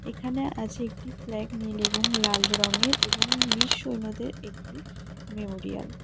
এখানে আছে একটি ফ্ল্যাগ নীল এবং লাল রঙের এবং বীর সৈন্যদের একটি মেমোরিয়াল .